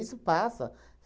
Isso passa.